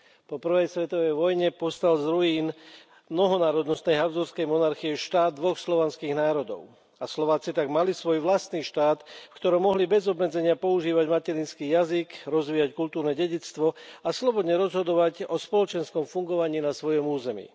Po prvej svetovej vojne povstal z ruín mnohonárodnostnej Habsburskej monarchie štát dvoch slovanských národov a Slováci tak mali svoj vlastný štát, v ktorom mohli bez obmedzenia používať materinský jazyk, rozvíjať kultúrne dedičstvo a slobodne rozhodovať o spoločenskom fungovaní na svojom území.